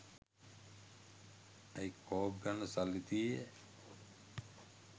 ඇයි කෝක් ගන්න සල්ලි තියේයැ?